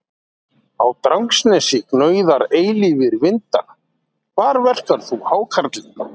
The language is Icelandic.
Á Drangsnesi gnauða eilífir vindar Hvar verkar þú hákarlinn?